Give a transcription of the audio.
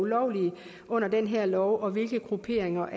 lovlige under den her lov og hvilke grupperinger